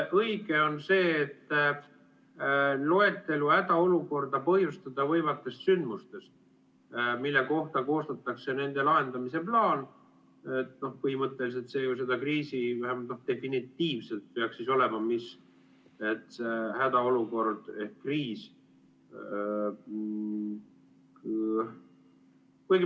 Õige on see, et loetelu hädaolukorda põhjustada võivatest sündmustest, mille kohta koostatakse nende lahendamise plaan, põhimõtteliselt see ju seda kriisi vähemalt definitiivselt peaks tähendama, mis see hädaolukord ehk kriis on.